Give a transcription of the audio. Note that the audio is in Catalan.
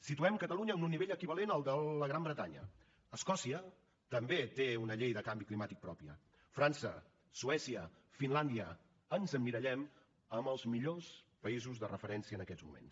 situem catalunya en un nivell equivalent al de la gran bretanya escòcia també té una llei de canvi climàtic pròpia frança suècia finlàndia ens emmirallem en els millors països de referència en aquests moments